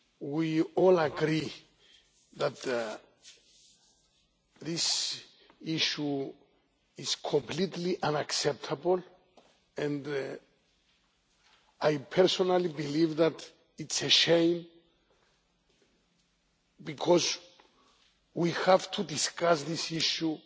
We all agree that this issue is completely unacceptable, and I personally believe that it is a shame, because we have to discuss this issue